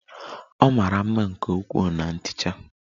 Ọ mara mma nke ukwuu na ntecha